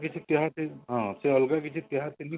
ସେ ଅଲଗା କିଛି ତିହାର